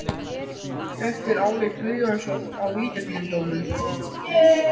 Hvert var álit Guðjóns á vítaspyrnudómnum?